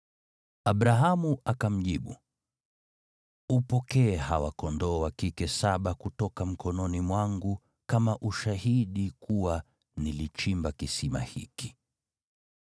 Abrahamu akamjibu, “Upokee hawa kondoo wa kike saba kutoka mkononi mwangu kama ushahidi kuwa nilichimba kisima hiki.”